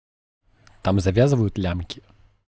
там завязывают лямки